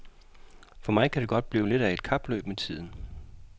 For mig kan det godt blive lidt af et kapløb med tiden.